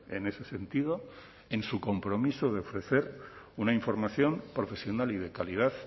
en ese sentido en su compromiso de ofrecer una información profesional y de calidad